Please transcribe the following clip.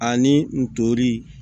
Ani n tori